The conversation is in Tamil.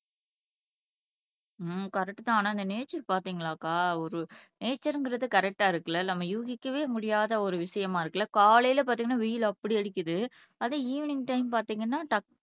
ஹம் கரெக்ட் தான் ஆனா இந்த நேச்சர் பாத்தீங்களாக்கா ஒரு நேச்சர்ங்கிறது கரெக்டா இருக்குல்ல நம்ம யூகிக்கவே முடியாத ஒரு விஷயமா இருக்குல்ல காலைல பாத்தீங்கன்னா வெயில் அப்படி அடிக்குது அதை ஈவினிங் டைம் பார்த்தீங்கன்னா டக்